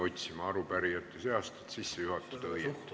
Ma jäin arupärijate seast nime otsima, et kõne õigesti sisse juhatada.